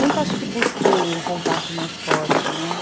Nunca acho que busquei um contato mais forte, né?